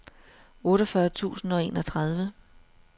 otteogfyrre tusind og enogtredive